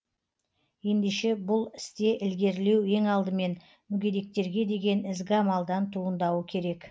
ендеше бұл істе ілгерілеу ең алдымен мүгедектерге деген ізгі амалдан туындауы керек